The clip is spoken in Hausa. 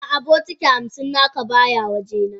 A'a bokiti hamsin naka baya waje na.